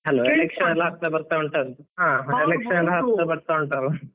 ಹತ್ರ ಬರ್ತಾ ಉಂಟಲ್ವಾ?